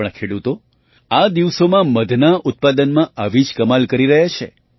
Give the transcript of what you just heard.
આપણા ખેડૂતો આ દિવસોમાં મધના ઉત્પાદનમાં આવી જ કમાલ કરી રહ્યા છે